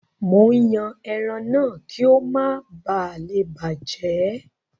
Mò ń yan ẹran náà kí ó má balè bàjẹ́.